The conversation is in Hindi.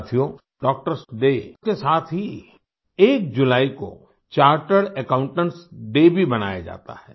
साथियों डॉक्टर्स डे के साथ ही एक जुलाई को चार्टर्ड अकाउंटेंट्स डे भी मनाया जाता है